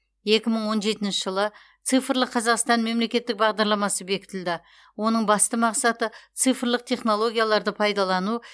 екі мың он жетінші жылы цифрлық қазақстан мемлекеттік бағдарламасы бекітілді оның басты мақсаты цифрлық технологияларды пайдалану